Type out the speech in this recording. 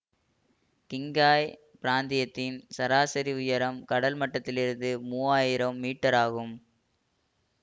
Qinghai பிராந்தியத்தின் சராசரி உயரம் கடல் மட்டத்திலிருந்து மூவாயிரம் மீட்டர் ஆகும்